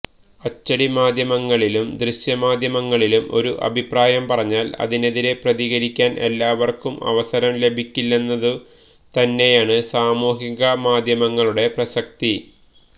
അച്ചടിമാധ്യമങ്ങളിലും ദൃശ്യമാധ്യമങ്ങളിലും ഒരു അഭിപ്രായം പറഞ്ഞാല് അതിനെതിരെ പ്രതികരിക്കാന് എല്ലാവര്ക്കും അവസരം ലഭിക്കില്ലെന്നതു തന്നെയാണ് സാമൂഹികമാധ്യമങ്ങളുടെ പ്രസക്തി